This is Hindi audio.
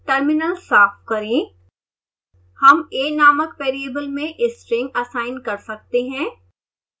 terminal साफ करें